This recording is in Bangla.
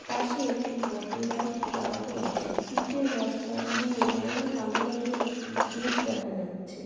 পাশে একটি মোটরবাইক দাঁড়ানো আছে। ইটের রাস্তা দিয়ে বাইরে কালো রংয়ের একটি গেট দেখা যাচ্ছে।